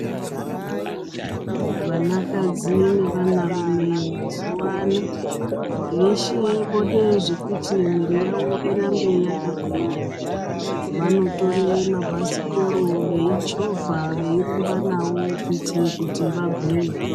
Vanakadzi nevanarume mazuwa ano veshe vode zvekuti mwiri yavo irambe yakagwinya vanotore mabhasikoro veyichovha veyirumba nawo kuitire kuti vagwinye.